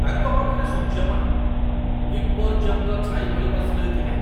ତାଙ୍କ ପାଖରେ ସୂର୍ଯ୍ୟମଣି ଏପର୍ଯ୍ୟନ୍ତ ଛାଇ ଭଳି ବସି ରହିଥିଲେ।